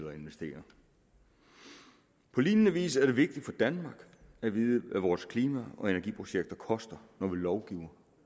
at investere på lignende vis er det vigtigt for danmark at vide hvad vores klima og energiprojekter koster når vi lovgiver